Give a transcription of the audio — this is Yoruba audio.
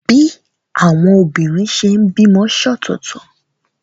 Bí àwọn obìnrin ṣe ń bímọ ṣọ̀tọ̀tọ̀.